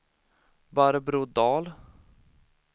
Barbro Dahl